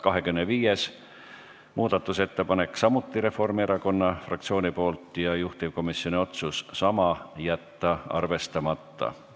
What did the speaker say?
25. muudatusettepanek on samuti Reformierakonna fraktsioonilt ja juhtivkomisjoni otsus on sama: jätta arvestamata.